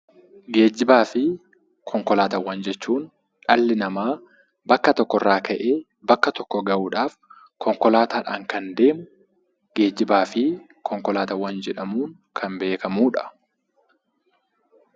Geejjibaa fi konkolaataawwan jechuun dhalli namaa bakka tokko irraa ka'ee bakka tokko gahuudhaaf, konkolaataadhaan kan deemu geejjibaa fi konkolaataawwan jedhamuun kan beekamudha.